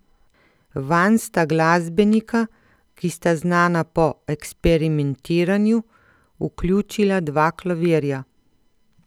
Vanj sta glasbenika, ki sta znana po eksperimentiranju, vključila dva klavirja.